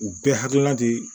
U bɛɛ hakilina de